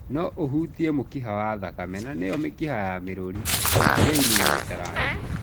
No ũhutie mũkiha wa thakame na nĩyo mĩkiha ya mĩrũri, veini na mĩtararĩko.